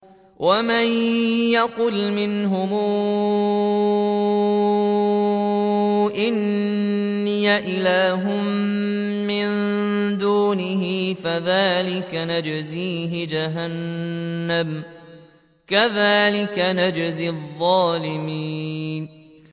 ۞ وَمَن يَقُلْ مِنْهُمْ إِنِّي إِلَٰهٌ مِّن دُونِهِ فَذَٰلِكَ نَجْزِيهِ جَهَنَّمَ ۚ كَذَٰلِكَ نَجْزِي الظَّالِمِينَ